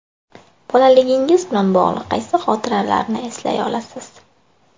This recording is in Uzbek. Bolaligingiz bilan bog‘liq qaysi xotiralarni eslay olasiz?